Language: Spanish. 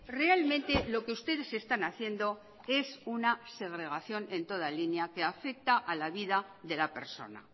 realmente lo que ustedes están haciendo es una segregación en toda línea que afecta a la vida de la persona